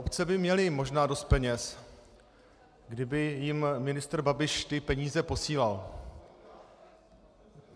Obce by měly možná dost peněz, kdyby jim ministr Babiš ty peníze posílal.